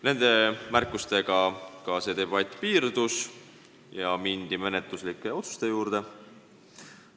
Nende märkustega debatt piirdus ja mindi menetluslike otsuste juurde.